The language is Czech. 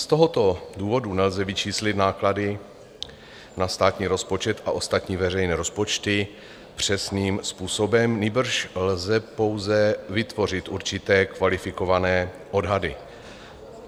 Z tohoto důvodu nelze vyčíslit náklady na státní rozpočet a ostatní veřejné rozpočty přesným způsobem, nýbrž lze pouze vytvořit určité kvalifikované odhady.